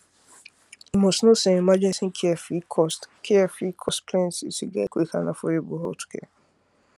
you must know say emergency care fit cost care fit cost plenty to get quick and affordable healthcare